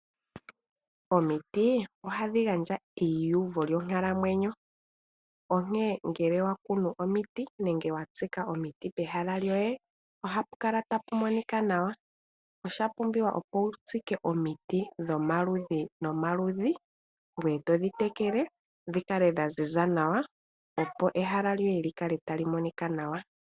Omiti ohadhi gandja euvo lyonkalamwenyo onkene ngele wakunu omiti nenge watsika omiti pehala lyoye ohapu kala tapu monika nawa. Osha pumbiwa opo wu tsike omiti dhomaludhi nomaludhi ngoye todhi tekele dhi kale dha ziza nawa, opo ehala lyoye li kale tali monika nawa.